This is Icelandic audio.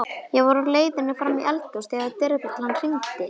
Ég var á leiðinni fram í eldhús þegar dyrabjallan hringdi.